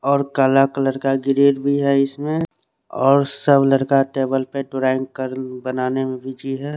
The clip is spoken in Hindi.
और काला कलर का ग्रेट भी है इसमें और सोलर का टेबल पर टरेंक्र बनाने में भी बिजी है।